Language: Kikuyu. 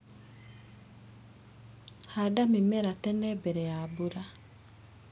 Handa mĩmera tene mbere ya mbura.